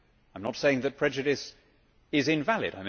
I am not saying that prejudice is invalid.